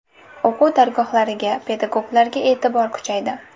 O‘quv dargohlariga, pedagoglarga e’tibor kuchaydi.